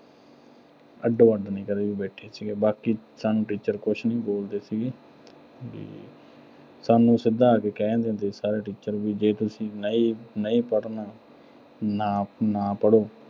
ਅੱਡੋ-ਅੱਡ ਨੀਂ ਕਦੇ ਵੀ ਬੈਠੇ ਸੀਗੇ। ਬਾਕੀ ਸਾਨੂੰ teacher ਕੁਝ ਵੀ ਬੋਲਦੇ ਸੀ, ਵੀ ਸਾਨੂੰ ਸਿੱਧਾ ਆ ਕੇ ਕਹਿ ਦਿੰਦੇ ਸੀ ਸਾਰੇ teacher ਵੀ ਜੇ ਤੁਸੀਂ ਨਈਂ ਅਹ ਨਹੀਂ ਪੜ੍ਹਨਾ ਨਾ ਅਹ ਨਾ ਪੜ੍ਹੋ